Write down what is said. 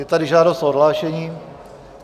Je tady žádost o odhlášení.